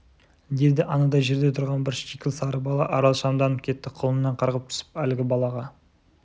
деді анадай жерде тұрған бір шикіл сары бала арал шамданып кетті құлыннан қарғып түсіп әлгі балаға